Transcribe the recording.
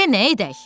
Denə edək.